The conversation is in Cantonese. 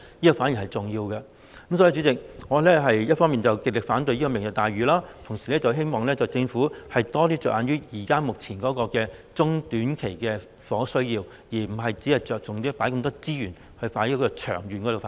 所以，代理主席，我一方面極力反對"明日大嶼"計劃，同時希望政府多着眼目前中短期的房屋需要，而不僅是着重投放這麼多資源作長遠發展。